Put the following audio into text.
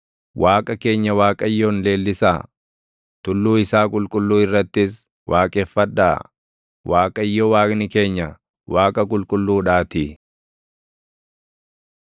Waaqa keenya Waaqayyoon leellisaa; tulluu isaa qulqulluu irrattis waaqeffadhaa; Waaqayyo Waaqni keenya Waaqa qulqulluudhaatii.